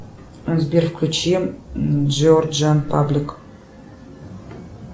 сбер включи джорджа паблик